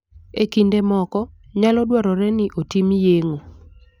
E kinde moko, nyalo dwarore ni otim yeng'o.